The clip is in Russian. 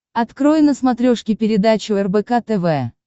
открой на смотрешке передачу рбк тв